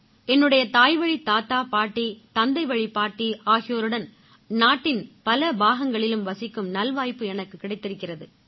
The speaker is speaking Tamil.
என்னுடைய தாய்வழித் தாத்தா பாட்டி தந்தைவழிப் பாட்டி ஆகியோருடன் நாட்டின் பல பாகங்களிலும் வசிக்கும் நல்வாய்ப்பு எனக்குக் கிடைத்திருக்கிறது